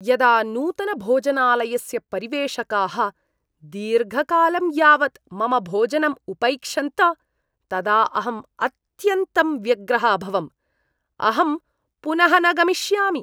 यदा नूतनभोजनालयस्य परिवेषकाः दीर्घकालं यावत् मम भोजनं उपैक्षन्त तदा अहम् अत्यन्तं व्यग्रः अभवम्। अहं पुनः न गमिष्यामि।